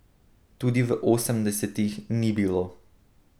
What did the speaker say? Tudi v osemdesetih ni bilo.